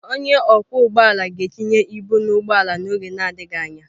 Onye ọkwọ ụgbọ ala ga-tinye ibu na ụgbọ ala n'oge adịghị anya.